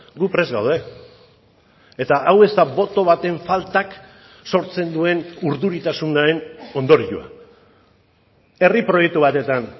gu prest gaude eta hau ez da boto baten faltak sortzen duen urduritasunaren ondorioa herri proiektu batetan